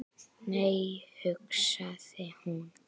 Nei, hugsaði hún.